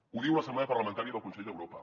ho diu l’assemblea parlamentària del consell d’europa